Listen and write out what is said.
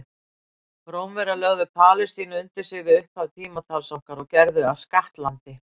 Rómverjar lögðu Palestínu undir sig við upphaf tímatals okkar og gerðu að skattlandi.